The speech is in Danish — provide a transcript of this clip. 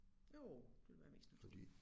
Jo det ville være mest natur